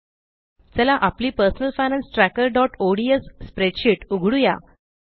चला आपली personal finance trackerओडीएस स्प्रेडशीट उघडुया